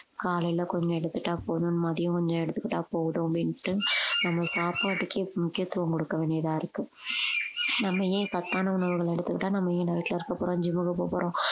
காலையில கொஞ்சம் எடுத்துட்டா போதும் மதியம் கொஞ்சம் எடுத்துக்கிட்டா போதும் அப்படின்னுட்டு நம்ம சாப்பாட்டுக்கே முக்கியத்துவம் கொடுக்க வேண்டியதா இருக்கு நம்ம ஏன் சத்தான உணவுகள் எடுத்துக்கிட்டா நம்ம ஏன் வீட்டுல இருக்கப் போறோம் gym க்கு போகப்போறோம்